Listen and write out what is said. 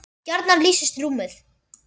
gjarnan lýsist rúmið